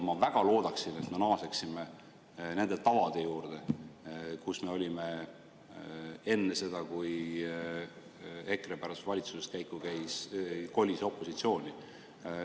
Ma väga loodan, et me naaseme nende tavade juurde, mis meil olid enne seda, kui EKRE pärast valitsuses käiku kolis opositsiooni.